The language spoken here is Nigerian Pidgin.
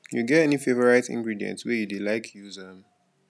you get any favorite ingredient wey you dey like use um